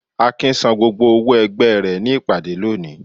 Akin sán gbógbó òwó ẹgbẹ re ní ìpàdé lóni